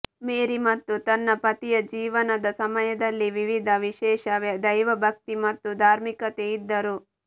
ಮೇರಿ ಮತ್ತು ತನ್ನ ಪತಿಯ ಜೀವನದ ಸಮಯದಲ್ಲಿ ವಿವಿಧ ವಿಶೇಷ ದೈವಭಕ್ತಿ ಮತ್ತು ಧಾರ್ಮಿಕತೆ ಇದ್ದರು